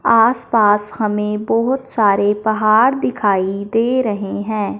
आसपास हमें बहुत सारे पहाड़ दिखाई दे रहे हैं।